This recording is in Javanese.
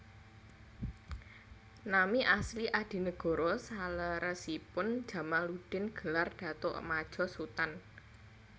Nami asli Adinegoro saleresipun Djamaluddin gelar Datuk Madjo Sutan